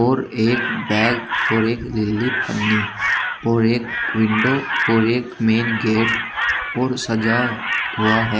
और एक बैग और एक नीली पन्नी और एक विंडो और एक मेन गेट और सजा हुआ है।